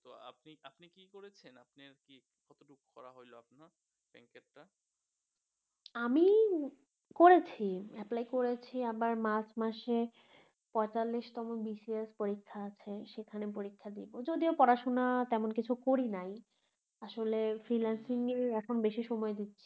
আমি করেছি apply করেছি আবার মার্চ মাসে পয়ঁতাল্লিশতম BCS পরীক্ষা আছে সেখানে পরীক্ষা দিবো যদিও পড়াশুনা তেমন কিছু করি নাই আসলে freelancing নিয়ে এখন বেশি সময় দিচ্ছি